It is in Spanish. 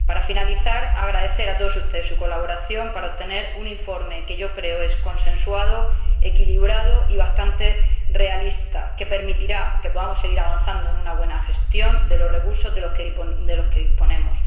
Para finalizar, agradecerles a todos ustedes su colaboración para obtener un informe que yo creo es consensuado, equilibrado y bastante realista, y que permitirá que podamos seguir avanzando en una buena gestión de los recursos de que disponemos.